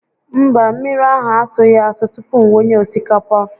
Mba, mmiri ahụ asụghị asụ tupu m wunye osikapa